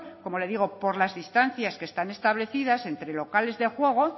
como le digo por las distancias que están establecidas entre locales de juego